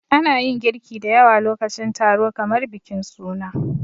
Ana yin girki da yawa lokacin taro kamar bikin suna.